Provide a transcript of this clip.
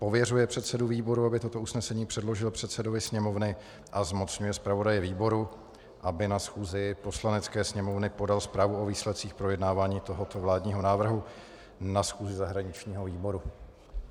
Pověřuje předsedu výboru, aby toto usnesení předložil předsedovi Sněmovny, a zmocňuje zpravodaje výboru, aby na schůzi Poslanecké sněmovny podal zprávu o výsledcích projednávání tohoto vládního návrhu na schůzi zahraničního výboru.